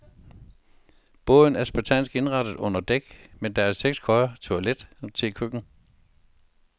Båden er spartansk indrettet under dæk, men der er seks køjer, toilet og tekøkken.